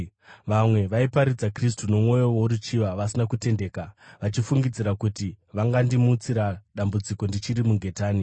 Vamwe vaiparidza Kristu nomwoyo woruchiva, vasina kutendeka, vachifungidzira kuti vangandimutsira dambudziko ndichiri mungetani.